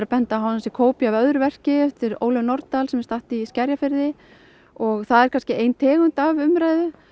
benda á að hann sé kópía af öðru verki eftir Ólöfu Nordal sem er í Skerjafirði og það er kannski ein tegund af umræðu